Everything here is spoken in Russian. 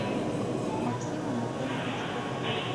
максим анатольевич батуев